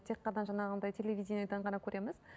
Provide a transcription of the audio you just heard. тек қана жаңағындай телевидениеден ғана көреміз